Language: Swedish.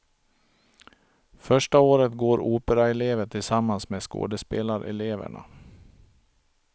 Första året går operaelever tillsammans med skådespelareleverna.